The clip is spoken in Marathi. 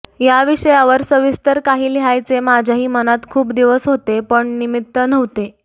या विषयावर सविस्तर काही लिहायचे माझ्याही मनात खूप दिवस होते पण निमित्त नव्हते